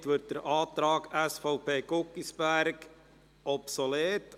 Somit wird der Antrag SVP/Guggisberg obsolet.